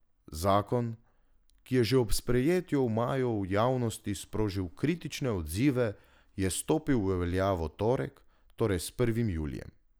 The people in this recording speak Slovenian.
Zakon, ki je že ob sprejetju v maju v javnosti sprožil kritične odzive, je stopil v veljavo v torek, torej s prvim julijem.